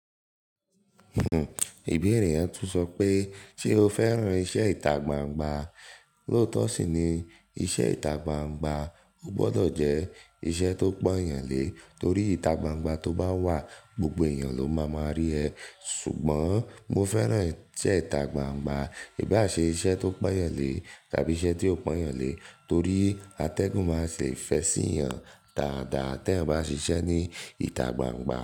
Ibeere yẹn tún sọ pé "Ṣé o fẹ́ràn iṣẹ́ ìtagbangba?" Lótó sì ni "Iṣẹ́ ìtagbangba ò gbọdọ̀ jẹ́ iṣẹ́ tó pọ̀n eeyàn lé, torí ìtagbangba tó bá wà, gbogbo èèyàn ló máa máa rí ẹ".Ṣùgbọ́n mo fẹ́ràn iṣẹ́ ìtagbangba, ìbá ṣe iṣẹ́ tó pọ̀n eeyàn lé tàbí iṣẹ́ tí ò pọ̀n eeyàn lé torí atẹ́gùn máa se ẹ̀ fẹ sí eeyan. Dáadáa tí ẹ bá se iṣẹ́ ní ìtagbangba.